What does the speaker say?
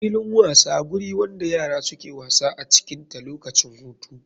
Filin wasa guri wanda yara suke wasa acikin ta lokacin hutu.